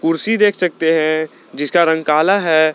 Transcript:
कुर्सी देख सकते हैं जिसका रंग काला है।